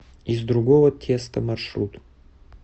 из другого теста маршрут